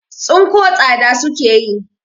Tsinko tsada suke yi.